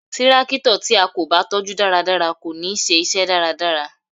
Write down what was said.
Tírákítọ̀ tí a kò bá tọ́ jú dáradára kò ní ṣe iṣẹ́ dáradára